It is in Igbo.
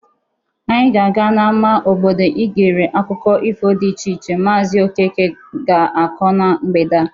Anyi ga-aga n'ama obodo igere akụkọ ifo dị iche iche maazị Okeke ga-akọ na mgbede a.